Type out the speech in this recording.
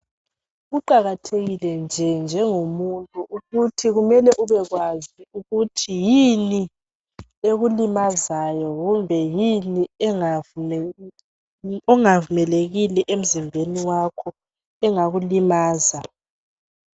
Kuqakathekile nje njengomuntu ukuthi kumele ubekwazi ukuthi yini ekulimazayo kumbe yini engavumelekile emzimbeni wakho engakulimaza.